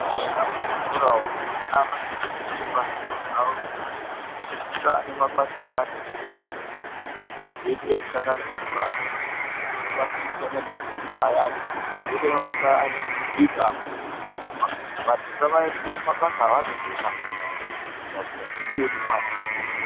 Eya muzvikora umu vana vanoto onekwa zvipo zvavo veikura ,kungaa nemabasa ayani ekushanda ne simbi, kozoite ekushanda nemapuranga kozoite mabasa ekushanda nezvidhina ayani kozite mabasa ayani ekubika amweni ekurima vandu ngavaendeswe kumabasa avanokona kuita veitofunda zviya unotoone mwana zvipo zvake